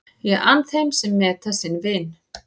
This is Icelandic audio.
Ég ann þeim sem meta sinn vin.